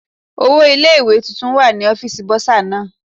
Owó ilé ìwé tuntun wà ní ọ́fíìsì Bọ́sà náà.